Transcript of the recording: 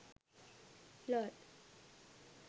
lol